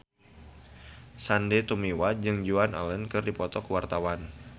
Sandy Tumiwa jeung Joan Allen keur dipoto ku wartawan